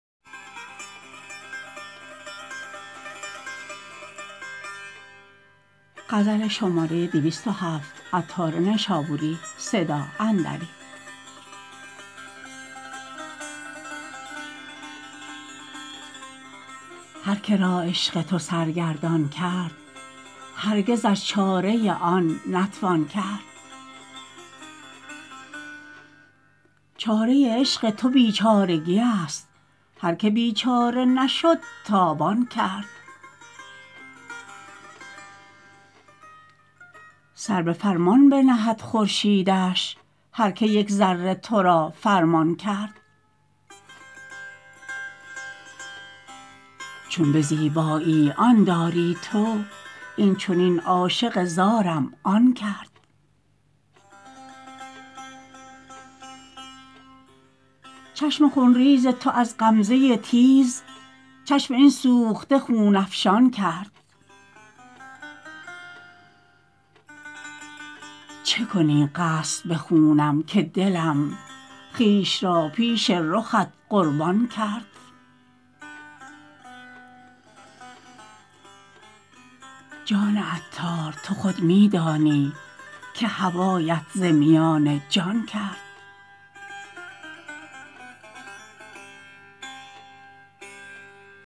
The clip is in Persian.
هر که را عشق تو سرگردان کرد هرگزش چاره آن نتوان کرد چاره عشق تو بیچارگی است هر که بیچاره نشد تاوان کرد سر به فرمان بنهد خورشیدش هر که یک ذره تو را فرمان کرد چون به زیبایی آن داری تو این چنین عاشق زارم آن کرد چشم خون ریز تو از غمزه تیز چشم این سوخته خون افشان کرد چه کنی قصد به خونم که دلم خویش را پیش رخت قربان کرد جان عطار تو خود می دانی که هوایت ز میان جان کرد